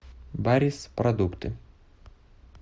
барис продукты